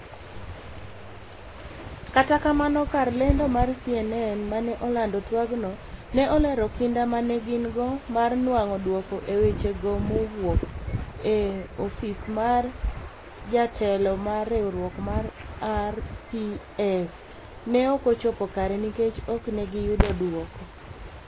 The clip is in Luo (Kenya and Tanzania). kata kamano kar lando mar CNN mane olando twag go. ne olero kinda ma gin go mar nwang'o dwoko e weche go mowuok. e ofis mar jatelo mar riwruok mar RPF. ne okochopo kare nikech ok ne gi yudo dwoko